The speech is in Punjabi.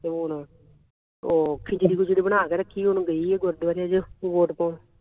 ਹੋਰ ਉਹ ਖਿਚੜੀ ਖੁੱਚੜੀ ਬਣਾ ਕੇ ਰੱਖੀ ਹੁਣ ਗਈ ਹੈ ਗੁਰਦਵਾਰੇ ਹਜੇ ਵੋਟ ਪਾਉਣ